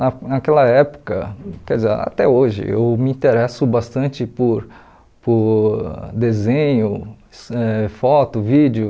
Na naquela época, quer dizer, até hoje, eu me interesso bastante por por desenho, ãh foto, vídeo.